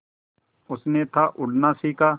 उसने था उड़ना सिखा